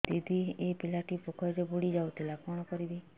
ଦିଦି ଏ ପିଲାଟି ପୋଖରୀରେ ବୁଡ଼ି ଯାଉଥିଲା କଣ କରିବି